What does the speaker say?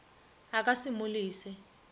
a ka se mo lese